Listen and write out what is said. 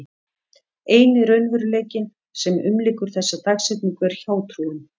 Eini raunveruleikinn sem umlykur þessa dagsetningu er hjátrúin.